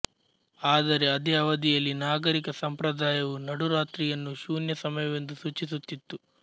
ಆದರೆ ಅದೇ ಅವಧಿಯಲ್ಲಿ ನಾಗರಿಕ ಸಂಪ್ರದಾಯವು ನಡುರಾತ್ರಿ ಯನ್ನು ಶೂನ್ಯ ಸಮಯವೆಂದು ಸೂಚಿಸುತ್ತಿತ್ತು